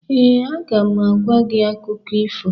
Ee, aga m agwa gị akụkọ ifo.